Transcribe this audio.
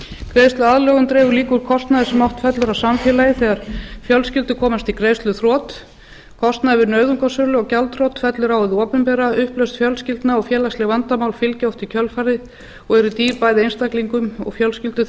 greiðsluaðlögun dregur líka úr kostnaði sem oft fellur á samfélagið þegar fjölskyldur komast í greiðsluþrot kostnaður við nauðungarsölu og gjaldþrot fellur á það opinbera upplausn fjölskyldna og félagsleg vandamál fylgja oft í kjölfarið og eru dýr bæði einstaklingum og fjölskyldum